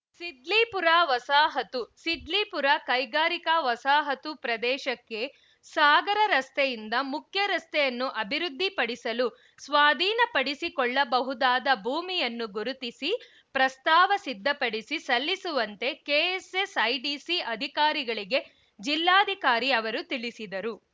ಸಿದ್ಲೀಪುರ ವಸಾಹತು ಸಿದ್ಲೀಪುರ ಕೈಗಾರಿಕಾ ವಸಾಹತು ಪ್ರದೇಶಕ್ಕೆ ಸಾಗರ ರಸ್ತೆಯಿಂದ ಮುಖ್ಯ ರಸ್ತೆಯನ್ನು ಅಭಿವೃದ್ಧಿಪಡಿಸಲು ಸ್ವಾಧೀನಪಡಿಸಿಕೊಳ್ಳಬಹುದಾದ ಭೂಮಿಯನ್ನು ಗುರುತಿಸಿ ಪ್ರಸ್ತಾವ ಸಿದ್ಧಪಡಿಸಿ ಸಲ್ಲಿಸುವಂತೆ ಕೆಎಸ್‌ಎಸ್‌ಐಡಿಸಿ ಅಧಿಕಾರಿಗಳಿಗೆ ಜಿಲ್ಲಾಧಿಕಾರಿ ಅವರು ತಿಳಿಸಿದರು